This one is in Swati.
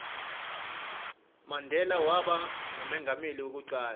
mandela waba ngumengameli weku cala